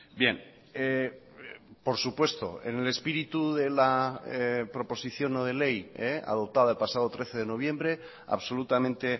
bien por supuesto en el espíritu de la proposición no de ley adoptada el pasado trece de noviembre absolutamente